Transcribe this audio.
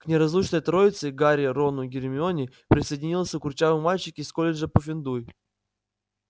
к неразлучной троице гарри рону гермионе присоединился курчавый мальчик из колледжа пуффендуй